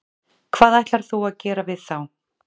Hvað ætlar þú að gera við þá?